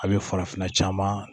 A bɛ farafinna caman